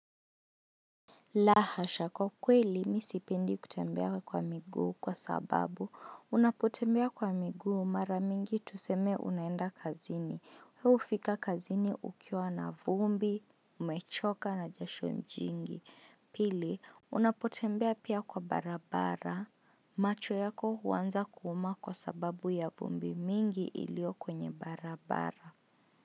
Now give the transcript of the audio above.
La hasha kwa kweli mimi sipendi kutembea kwa miguu kwa sababu unapotembea kwa miguu mara mingi tuseme unaenda kazini we hufika kazini ukiwa na vumbi umechoka na jasho jingi pili unapotembea pia kwa barabara macho yako huanza kuuma kwa sababu ya vumbi mingi ilio kwenye barabara.